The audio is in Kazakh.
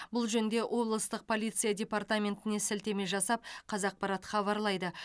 бұл жөнінде облыстық полиция департаментіне сілтеме жасап қазақпарат хабарлайды